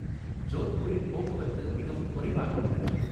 ஜோத்பூரில் போக்குவரத்து மிகவும் குறைவாக உள்ளது